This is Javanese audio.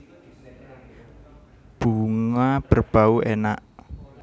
Bunga berbau enak